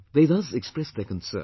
" They thus expressed their concern